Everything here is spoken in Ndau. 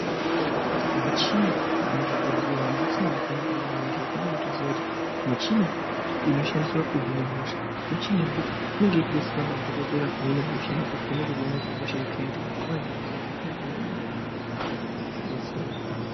Michini yemuzvibhedhlera umu michini yakanaka maningi unobatoziya kuti michini inoshandiswa kuhina hosha michini yekuti inenge ichidetsera madhokodheya kuhina hosha nekuvheneka kuti ihosha yekaindi ipi zvinofa zviri zviro zvakanaka maningi zvinodetsera.